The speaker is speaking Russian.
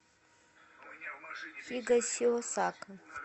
хигасиосака